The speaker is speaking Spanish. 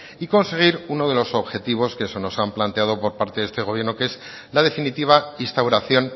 y conseguir uno de los objetivos que se nos han planteado por parte de este gobierno que es la definitiva instauración